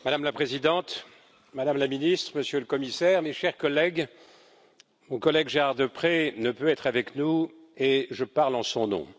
Madame la Présidente, Madame la Ministre, Monsieur le Commissaire, mes chers collègues, mon collègue Gérard Deprez ne peut être avec nous et je parle en son nom.